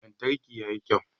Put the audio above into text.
Lantarki ya yi kyau.